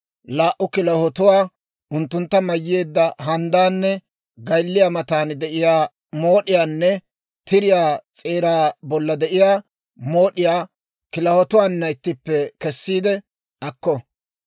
laa"u kilahotuwaa, unttuntta mayyeedda handdaanne gaylliyaa matan de'iyaa mood'iyaanne tiriyaa s'eeraa bolla de'iyaa mood'iyaa kilahotuwaana ittippe kessiide akko.